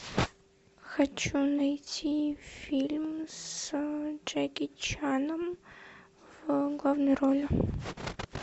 хочу найти фильм с джеки чаном в главной роли